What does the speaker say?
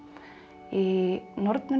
í